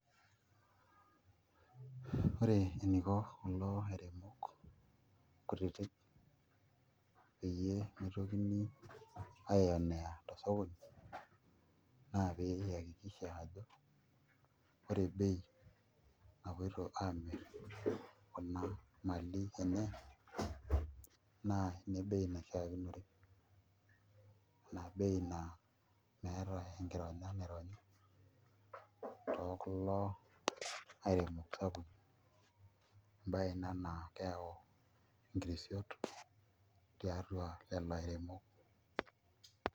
Ore eniko kulo airemok kutititk peyie mitokini aionea tosokoni naa pee iakikisha ajo ore bei napoito aamirr kuna mali enye naa bei naishiakinore ina bei naa meeta enkironya naironyi te kulo aremok sapukin embaye ina naa keyau enkirisio tolairemok.